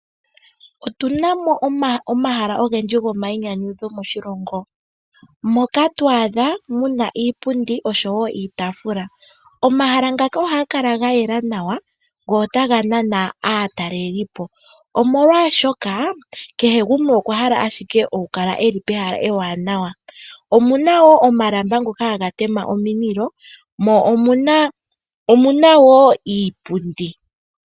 Otuna mo omahala ogendji gomainyanyudho moshilongo, moka to adha muna iipundi oshowo iitaafula. Omahala ngaka ohaga kala ga yela nawa, go otaga nana aataleli po, omolwaashoka kehe gumwe okwa hala ashike oku kala e li pehala ewaanawa. Omuna wo omalamba ngoka haga tema omililo, mo omuna wo iipundi.